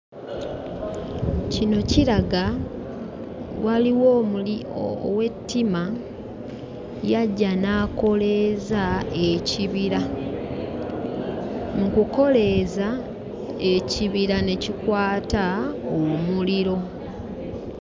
Kino kiraga waliwo omuli ow'ettima yajja n'akoleeza ekibira. Mu kukoleeza ekibira ne kikwata omuliro.